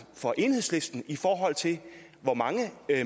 for enhedslisten i forhold til hvor mange